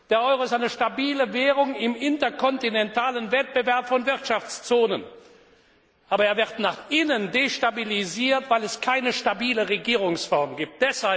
Der Euro ist eine stabile Währung im interkontinentalen Wettbewerb von Wirtschaftszonen, aber er wird nach innen destabilisiert, weil es keine stabile Regierungsform gibt.